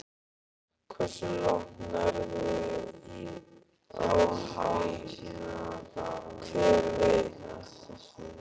Hversu langt nærðu á því, hver veit?